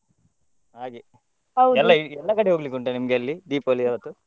ಹಾಗೆ ಎಲ್ಲ ಕಡೆ ಹೋಗ್ಲಿಕ್ಕೆ ಉಂಟಾ ನಿಮ್ಗೆ ಅಲ್ಲಿ Deepavali ಆವತ್ತು?